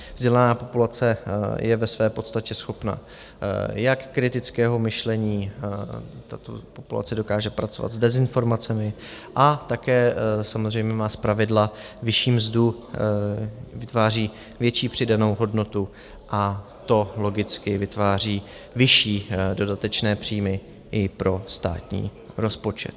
Vzdělaná populace je ve své podstatě schopna jak kritického myšlení, tato populace dokáže pracovat s dezinformacemi a také samozřejmě má zpravidla vyšší mzdu, vytváří větší přidanou hodnotu, a to logicky vytváří vyšší dodatečné příjmy i pro státní rozpočet.